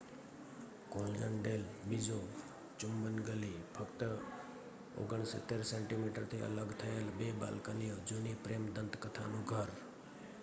કૉલજન ડેલ બિઝો ચુંબન ગલી. ફક્ત 69 સેન્ટિમીટરથી અલગ થયેલ બે બાલ્કનીઓ જૂની પ્રેમ દંતકથાનું ઘર